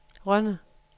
Rønde